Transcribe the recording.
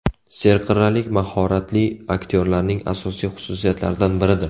Serqirralik mahoratli aktyorlarning asosiy xususiyatlaridan biridir.